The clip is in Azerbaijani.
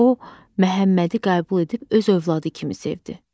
O Məhəmmədi qəbul edib öz övladı kimi sevdi.